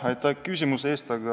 Aitäh küsimuse eest!